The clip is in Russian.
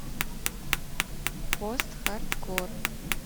постхардкор